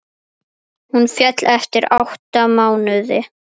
Hún féll eftir átta mánuði.